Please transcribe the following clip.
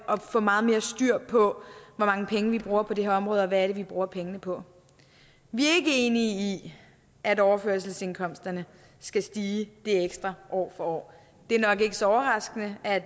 og få meget mere styr på hvor mange penge vi bruger på det her område og hvad vi bruger pengene på vi er ikke enige i at overførselsindkomsterne skal stige det ekstra år for år det er nok ikke så overraskende at